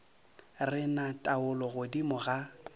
re na taolo godimo ga